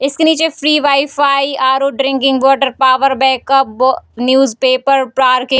इसके नीचे free wifi RO drinking water power backup बो न्यूज़ पेपर पार्किंग --